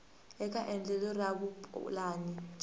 eka endlelo ra vupulani bya